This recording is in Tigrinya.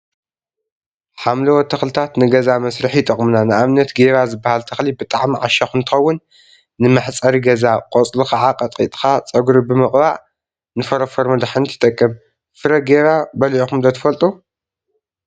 ሓምለዎት ተክሊታት ንገዛ መስርሒ ይጠቅሙና፡፡ ንአብነት ጌባ ዝብሃል ተክሊ ብጣዕሚ ዓሻኽ እንትኸውን፤ ንመሕፀሪ ገዛ ፣ቆፅሉ ከዓ ቀጥቂጥካ ፀጉሪካ ብምቅባእ ንፎሮፎር መድሓኒት ይጠቅም፡፡ ፍረ ጌባ በሊዕኩም ዶ ትፈልጡ?